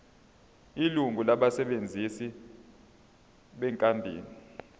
ilungu labasebenzi benkampani